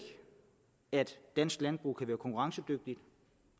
at dansk landbrug kan være konkurrencedygtigt